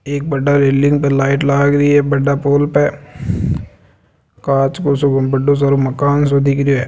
एक बड़ा रेलिंग पे लाइट लागरी है बड़ा पोल पे कांच को सो बड़ो सारो मकान सो दिखरियो है।